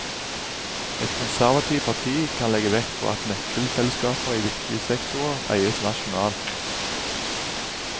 Et konservativt parti kan legge vekt på at nøkkelselskaper i viktige sektorer eies nasjonalt.